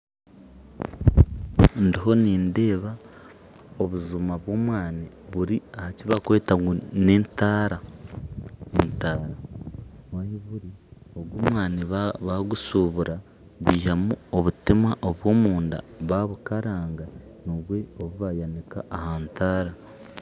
Ndiho nindeeba obujuma bw'obwani buri aha kibakweta ngu n'entaara ogu omwaani bagushuubura baihamu obutima obw'omunda babukaranga nibwo bayanika aha ntaara